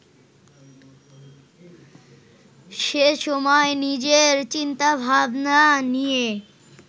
সেসময় নিজের চিন্তা-ভাবনা নিয়ে